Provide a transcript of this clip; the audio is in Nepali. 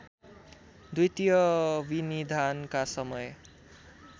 द्वितीय विनिधानका समय